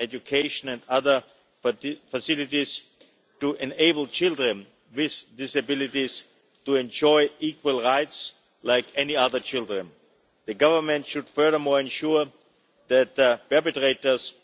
education and other facilities to enable children with disabilities to enjoy the same rights as any other children. The Government should, furthermore, ensure that the perpetrators